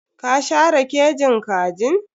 Ka share kejin kajin?